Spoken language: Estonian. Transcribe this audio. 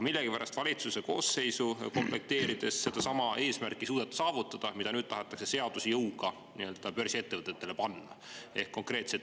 Millegipärast valitsuse koosseisu komplekteerides ei suudetud sellist eesmärki saavutada, mida nüüd seaduse jõuga börsiettevõtetele tahetakse panna.